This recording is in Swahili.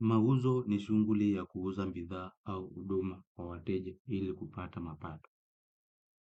Mauzo ni shuguli ya kuuza bidhaa au huduma kwa wateja ili kupata mapato.